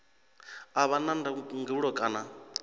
a vha na ndangulo kana